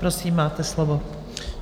Prosím, máte slovo.